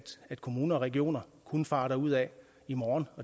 kommuner og regioner kunne fare derudad i morgen